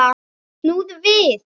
Snúðu við!